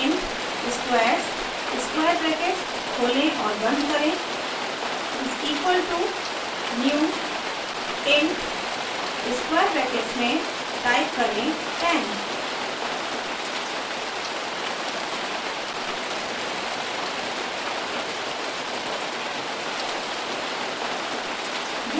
int squares = new int 10;